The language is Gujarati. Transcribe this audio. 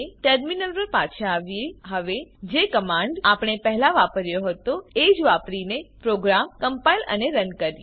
ટર્મિનલ પર પાછા આવીએ હવે જે કમાંડ આપણે પહેલા વાપર્યો હતો એજ વાપરીને પ્રોગ્રામ કમ્પાઈલ અને રન કરીએ